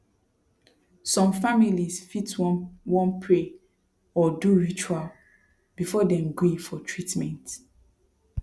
some families fit wan wan pray or do ritual before dem gree for treatment